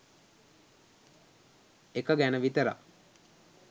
එක ගැන විතරක්